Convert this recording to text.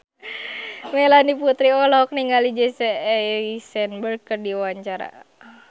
Melanie Putri olohok ningali Jesse Eisenberg keur diwawancara